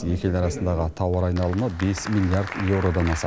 екі ел арасындағы тауар айналымы бес миллиард еуродан асады